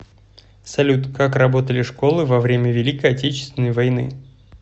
салют как работали школы во время великой отечественной войны